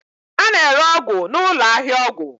a na-ere ọgwụ na ụlọ ahịa ọgwụ.